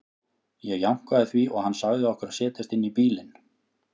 Ég jánkaði því og hann sagði okkur að setjast inn í bílinn.